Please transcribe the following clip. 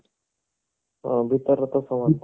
ହଁ ଭିତର ତ ସମାନ ଥିବ